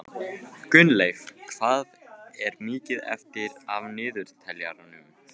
Gunnleif, hvað er mikið eftir af niðurteljaranum?